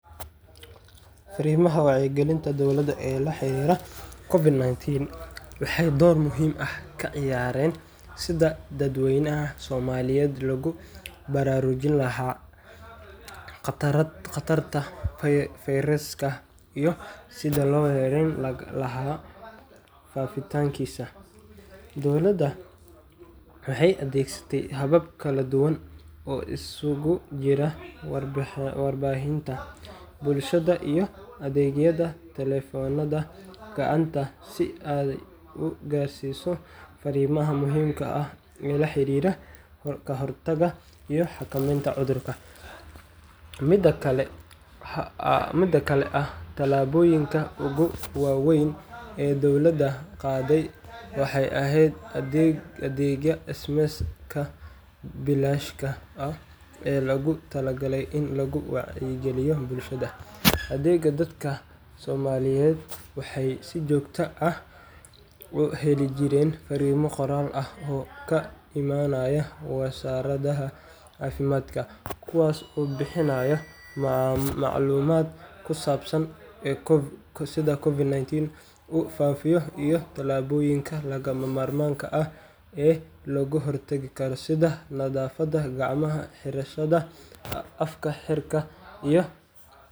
Fariimaha wacyigelinta dowladda ee la xiriira COVID-19 waxay door muhiim ah ka ciyaareen sidii dadweynaha Soomaaliyeed loogu baraarujin lahaa khatarta fayraska iyo sidii loo yareyn lahaa faafitaankiisa. Dowladdu waxay adeegsatay habab kala duwan oo isugu jira warbaahinta, bulshada, iyo adeegyada taleefannada gacanta si ay u gaarsiiso fariimaha muhiimka ah ee la xiriira ka hortagga iyo xakameynta cudurka. Mid ka mid ah tallaabooyinka ugu waaweyn ee dowladda qaaday waxay ahayd adeegga SMS-ka bilaashka ah ee loogu talagalay in lagu wacyigeliyo bulshada. Adeeggan, dadka Soomaaliyeed waxay si joogto ah u heli jireen fariimo qoraal ah oo ka imanaya Wasaaradda Caafimaadka, kuwaas oo bixinayay macluumaad ku saabsan sida COVID-19 u faafayo iyo tallaabooyinka lagama maarmaanka ah ee looga hortagi karo, sida nadaafadda gacmaha, xirashada af-xirka, iyo.